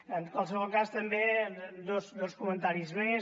en qualsevol cas també dos comentaris més